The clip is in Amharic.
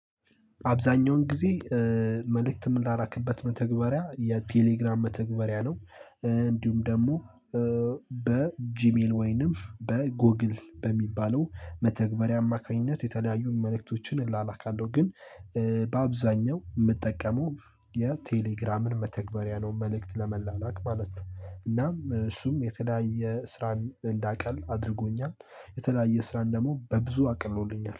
አብዛኛውን ጊዜ መልእክት የምላላክበት መተግበሪያ የቴሌግራም መተግበሪያ ነው። እንዲሁም ደግሞ በጂሜል ወይንም በጎግል በሚባለው መተግበሪያ አማካኝነት የተለያዩ መልእክቶችን እላላካለሁ ግን በአብዛኛው የምጠቀመው የቴሌግራምን መተግበሪያ ነው። መልእክት ለመላላክ ማለት ነው። እናም እሱም የተለያየ ስራን እንዳቀል አድርጎኛል። የተለያየ ስራን ደግሞ በብዙ አቅሎልኛል።